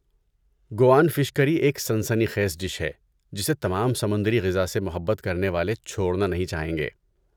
گوان fish curry ایک سنسنی خیز ڈش ہے جسے تمام سمندری غذا سے محبت کرنے والے چھوڑنا نہیں چاہیں گے۔